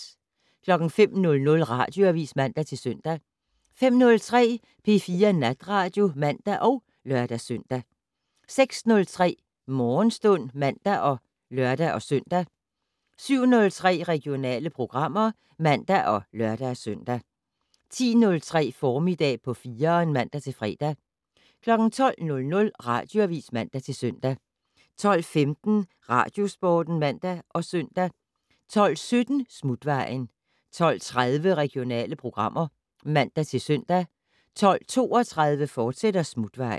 05:00: Radioavis (man-søn) 05:03: P4 Natradio (man og lør-søn) 06:03: Morgenstund (man og lør-søn) 07:03: Regionale programmer (man og lør-søn) 10:03: Formiddag på 4'eren (man-fre) 12:00: Radioavis (man-søn) 12:15: Radiosporten (man og søn) 12:17: Smutvejen 12:30: Regionale programmer (man-søn) 12:32: Smutvejen, fortsat